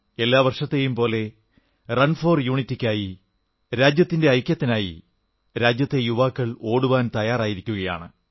എല്ലാ വർഷത്തെയും പോലെ റൺ ഫോർ യൂണിറ്റിക്കായി രാജ്യത്തിന്റെ ഐക്യത്തിനായി രാജ്യത്തെ യുവാക്കൾ ഓടുവാൻ തയ്യാറായിരിക്കയാണ്